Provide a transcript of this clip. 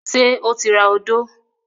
Ṣé ó ti ra odó?